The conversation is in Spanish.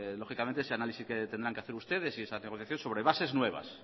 ese análisis que tendrán que hacer ustedes y esas negociaciones sobre bases nuevas